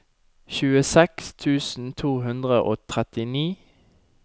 tjueseks tusen to hundre og trettini